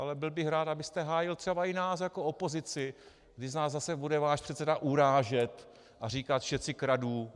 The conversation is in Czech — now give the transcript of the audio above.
Ale byl bych rád, abyste hájil třeba i nás jako opozici, když nás zase bude váš předseda urážet a říkat všetci kradnú.